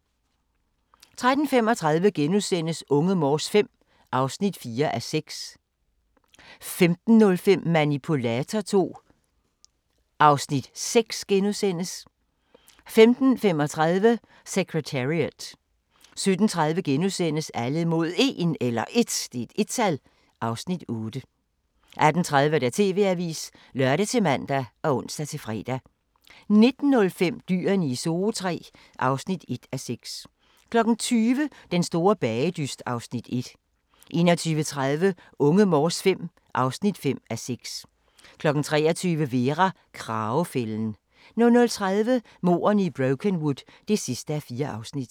13:35: Unge Morse V (4:6)* 15:05: Manipulator II (Afs. 6)* 15:35: Secretariat 17:30: Alle mod 1 (Afs. 8)* 18:30: TV-avisen (lør-man og ons-fre) 19:05: Dyrene i Zoo III (1:6) 20:00: Den store bagedyst (Afs. 1) 21:30: Unge Morse V (5:6) 23:00: Vera: Kragefælden 00:30: Mordene i Brokenwood (4:4)